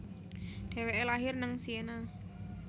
Deweke lahir neng Siena